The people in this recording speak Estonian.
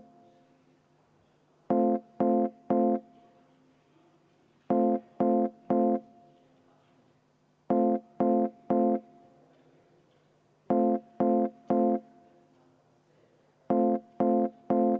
Aitäh!